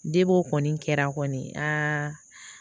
De o kɔni kɛra kɔni a